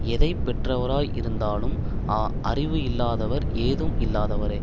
எதை பெற்றவராய் இருந்தாலும் அறிவு இல்லாதவர் ஏதும் இல்லாதவரே